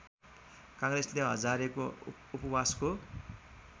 काङ्ग्रेसले हजारेको उपवासको